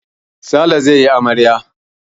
Sale zai yi amarya.